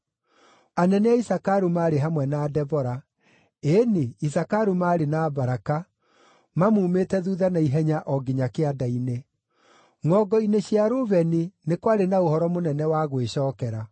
Anene a Isakaru maarĩ hamwe na Debora; Ĩĩ-ni, Isakaru maarĩ na Baraka, mamumĩte thuutha na ihenya o nginya kĩanda-inĩ. Ngʼongo-inĩ cia Rubeni nĩ kwarĩ na ũhoro mũnene wa gwĩcookera.